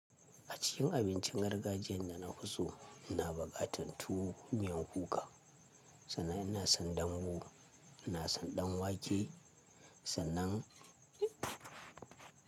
A cikin abincin gargajiyan da nafi so ina bukatan tuwo miyan kuka sannan ina son dambu, ina son ɗanwake sannan.